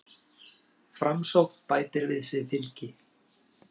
Framsókn bætir við sig fylgi